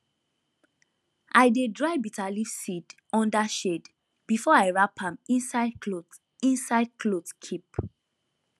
i dey dry bitterleaf seed under shade before i wrap am inside cloth inside cloth keep